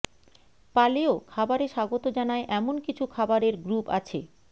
পালেও খাবারে স্বাগত জানায় এমন কিছু খাবারের গ্রুপ আছে